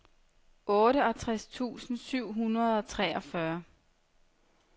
otteogtres tusind syv hundrede og treogfyrre